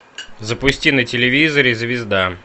запусти на телевизоре звезда